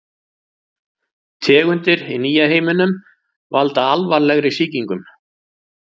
Tegundir í nýja heiminum valda alvarlegri sýkingum.